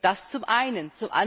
Das zum einen.